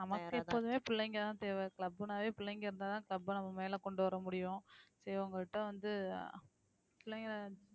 நமக்கு எப்போதுமே பிள்ளைங்கதான் தேவை club னாவே பிள்ளைங்க இருந்தாதான் club அ நம்ம மேல கொண்டு வர முடியும் சரி உங்க கிட்ட வந்து அஹ் பிள்ளைங்களை